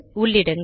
உள்ளிடுங்கள்